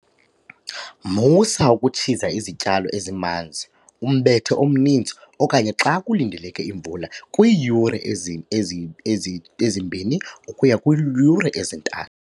Musa ukutshiza izityalo ezimanzi, umbethe omninzi, okanye xa kulindeleke imvula kwiiyure ezi-2 ukuya kwezi-3.